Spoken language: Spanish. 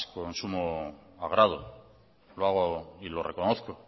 con sumo agrado lo hago y lo reconozco